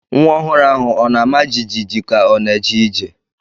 Nwa ọhụrụ ahụ ọ na-ama jijiji ka ọ na-eje ije?